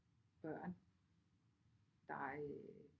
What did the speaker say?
Børn der øh